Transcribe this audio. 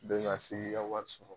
Bɛ na se k'i ka wari sɔ